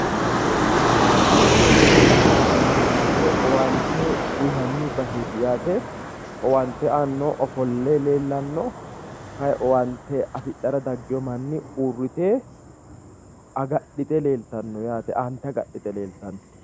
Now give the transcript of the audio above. kawiichi mangistete owaante uyiinanni baseti yaate owaante aannohu ofolle leellanno kayii owaante afidhara daggino manni uurre agadhite leeltanno aante agadhite yaate .